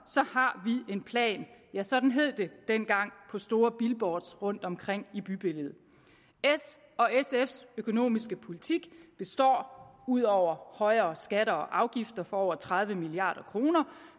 har vi en plan ja sådan hed det dengang på store billboards rundtomkring i bybilledet s og sfs økonomiske politik består ud over højere skatter og afgifter for over tredive milliard kroner